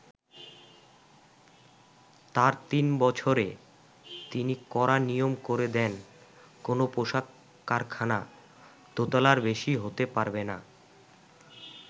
তার তিন বছরে তিনি কড়া নিয়ম করে দেন কোন পোশাক কারখানা দোতলার বেশি হতে পারবে না।